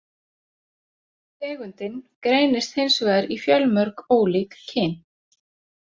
Tegundin greinist hins vegar í fjölmörg ólík kyn.